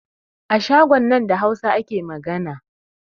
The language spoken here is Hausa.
A shagon nan da Hausa ake magana